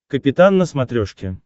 капитан на смотрешке